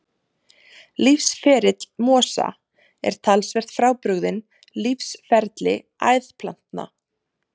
Lífsferill mosa er talsvert frábrugðinn lífsferli æðplantna.